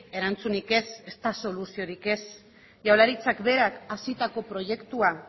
erantzunik ez ezta soluziorik ez jaurlaritzak berak hasitako proiektua